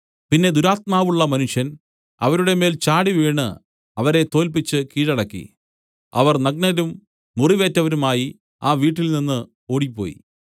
പിന്നെ ദുരാത്മാവുള്ള മനുഷ്യൻ അവരുടെ മേൽ ചാടിവീണ് അവരെ തോല്പിച്ച് കീഴടക്കി അവർ നഗ്നരും മുറിവേറ്റവരുമായി ആ വീട്ടിൽനിന്ന് ഓടിപ്പോയി